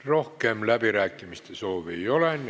Rohkem läbirääkimiste soovi ei ole.